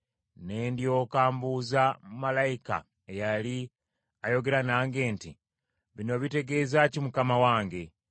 Ne ndyoka mbuuza malayika eyali ayogera nange nti, “Bino bitegeeza ki mukama wange?”